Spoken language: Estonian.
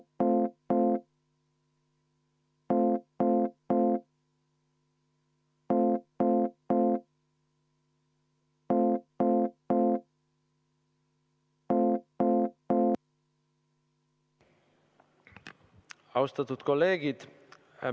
Austatud kolleegid!